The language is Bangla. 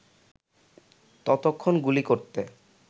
ততক্ষণ গুলি করতে